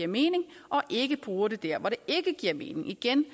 mening og ikke bruger det der hvor det ikke giver mening igen